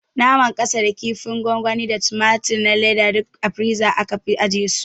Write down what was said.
Naman kasa da kinfin gwangwani da tumatur na leda duk a firiza aka fi ajiye su